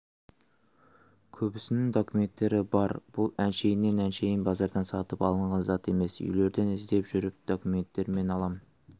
көбісінің документтері бар бұл әншейіннен әншейін базардан сатып алынған зат емес үйлерден іздеп жүріп документтерімен аламын